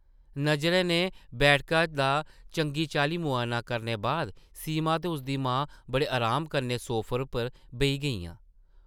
नज़रें नै बैठका दा चंगी-चाल्ली मुआयना करने बाद सीमा ते उसदी मां बड़े अराम कन्नै सोफे उप्पर बेही गेइयां ।